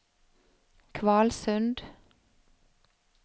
Kvalsund